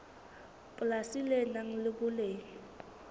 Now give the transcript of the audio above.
polasi le nang le boleng